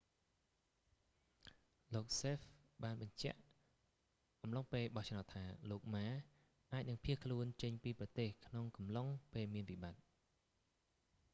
លោកសេហ្វ hsieh បានបញ្ជាក់អំឡុងពេលបោះឆ្នោតថា លោកម៉ា ma អាចនឹងភៀសខ្លួនចេញពីប្រទេសក្នុងអំឡុងពេលមានវិបត្តិ